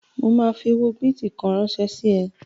Mo ma fi owó bìtì kan ránsẹ́ sí ẹ